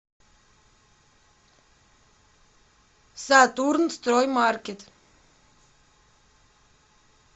сатурнстроймаркет